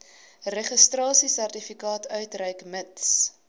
registrasiesertifikaat uitreik mits